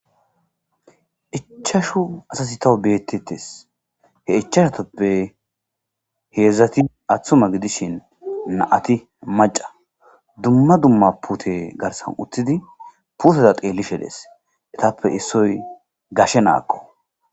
Ichashu asasi tawu beettetes he ichashatoppe heedzdzati aththuma gidishin naati maca dumma dumma pute garsan uttidi puteda qeellishe dees etappe issoy gashe naakko.